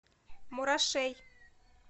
мурашей